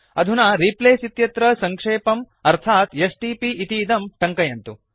अधुना रिप्लेस इत्यत्र सङ्क्षेपम् अर्थात् एसटीपी इतीदं टङ्कयन्तु